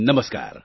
નમસ્કાર